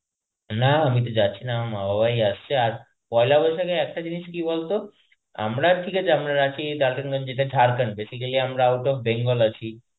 না, আমি তো যাচ্ছি না আমার মা বাবাই আসছে আর পয়লা বৈশাখে একটা জিনিস কি বলতো আমরা ঠিক আছে আমরা রাঁচী DaltonGanj যেটা Jharkhand আমরা out of bengal আছি